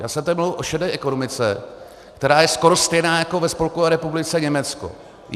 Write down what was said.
Já jsem tedy mluvil o šedé ekonomice, která je skoro stejná jako ve Spolkové republice Německo.